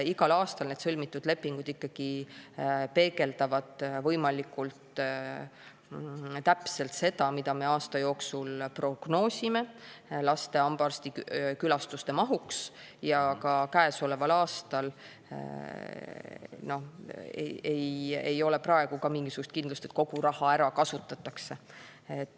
Igal aastal need sõlmitud lepingud ikkagi peegeldavad võimalikult täpselt seda, mida me aasta jooksul prognoosime laste hambaarstikülastuste mahuks, ja ka käesoleval aastal ei ole praegu mingisugust kindlust, et kogu raha ära kasutatakse.